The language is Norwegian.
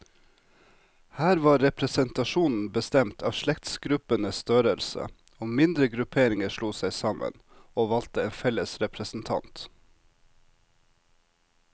Her var representasjonen bestemt av slektsgruppenes størrelse, og mindre grupperinger slo seg sammen, og valgte en felles representant.